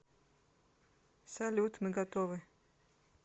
салют мы готовы